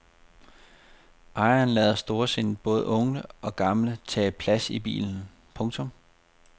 Ejeren lader storsindet både unge og gamle tage plads i bilen. punktum